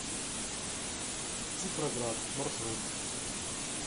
цифроград маршрут